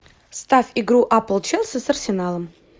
ставь игру апл челси с арсеналом